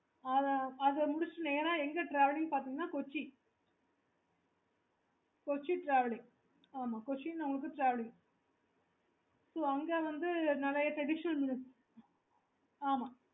okay